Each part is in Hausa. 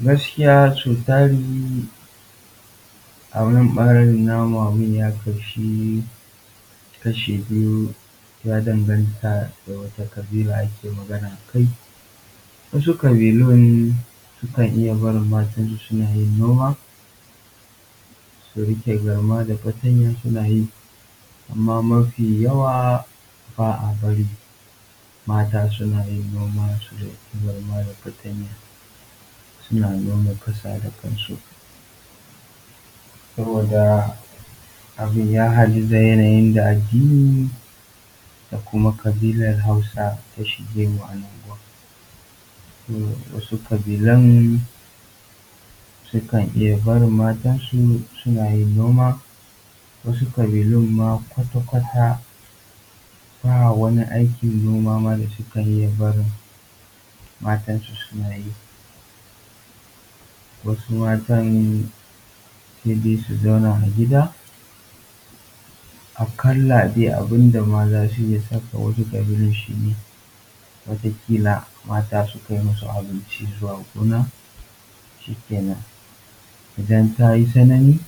Gaskiya so tari a nan ɓarin namu abin ya kashi kashi biyu, ya danganta da wata ƙabila ake magana akai, wasu ƙabilun sukan iya barin mata su suna yin noma su riƙe garma da fatanya suna yi amma mafiyawa ba a bari mata suna yin noma su riƙe garma da fatanya suna noma ƙasa da kansu, saboda abin ya haɗu da yanayin da addini da kuma ƙabilan hausa ta shige wa'innan abubuwan. So wasu ƙabilan sukan iya barin mata su suna yin noma, wasu ƙabilun ma kwakwata ba wani aikin noma ma da sukan iya barin mata su suna yin wasu mata sai dai su zauna a gida aƙalla dai abin da ma za su iya saka wasu ƙabilun shi ne wata ƙila mata su kai masu abinci zuwa gona shikenan. Idan ta yi tsanani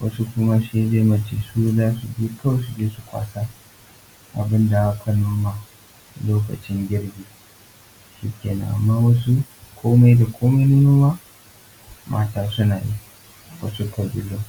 wasu kuma sai dai mace za su girko su je su kwasa abin da aka noma lokacin girbi shikenan. Amma wasu komai da komai na noma, mata suna yin wasu ƙabilun.